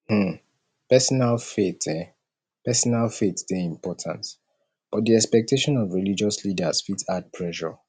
um personal faith um personal faith dey important but di expectation of religious leaders fit add pressure